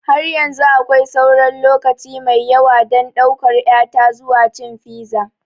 Har yanzu akwai sauran lokaci mai yawa don ɗaukar ƴata zuwa cin fiza.